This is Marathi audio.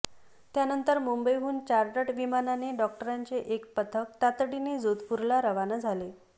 त्यानंतर मुंबईहून चार्टर्ड विमानाने डॉक्टरांचे एक पथक तातडीने जोधपूरला रवाना झाले